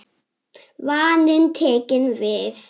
Vaninn tekinn við.